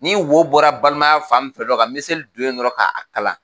Ni wo bɔra balimaya fan min fɛ dɔron ka miseli don yen dɔrɔn k'a kala.